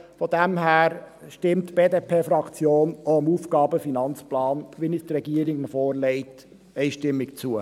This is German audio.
Von daher stimmt die BDP-Fraktion auch dem AFP, wie ihn die Regierung vorlegt, einstimmig zu.